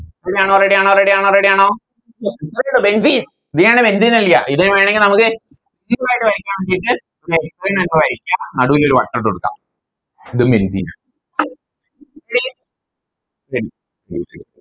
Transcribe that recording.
Ready ആണോ Ready ആണോ Ready ആണോ Ready ആണോ ഇതാണ് Benzene ഇത് വേണെങ്കി നമുക്ക് നടുവിലൊരു വട്ടവിട്ട് കൊടുക്കാം ഇത് benzene